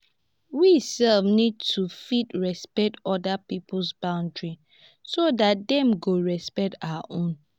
we sef need to fit respect oda pipo boundaries so dat dem go respect our own